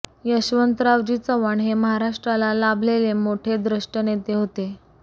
यशवंतरावजी चव्हाण हे महाराष्ट्राला लाभलेले मोठे द्रष्टे नेते होते